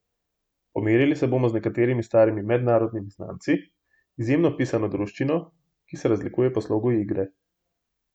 Pomerili se bomo z nekaterimi starimi mednarodnimi znanci, izjemno pisano druščino, ki se razlikuje po slogu igre.